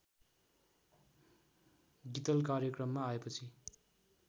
गीतल कार्यक्रममा आएपछि